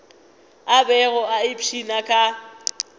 a bego a ipshina ka